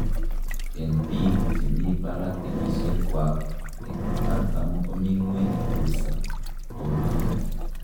En biik chemi barak kenyisiekwak en artam komi ngweny kabisa tonuito.